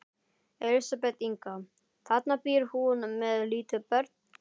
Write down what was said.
Elísabet Inga: Þarna býr hún með lítil börn?